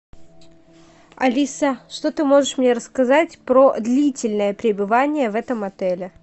алиса что ты можешь мне рассказать про длительное пребывание в этом отеле